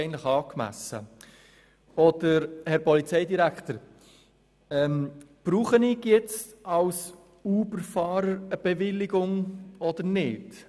Für uns sind gewisse Dinge nicht ganz klar: Herr Polizeidirektor, brauche ich jetzt als Uber-Fahrer eine Bewilligung oder nicht?